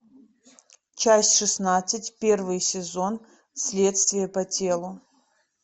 часть шестнадцать первый сезон следствие по телу